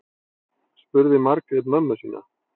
spurði margrét mömmu sína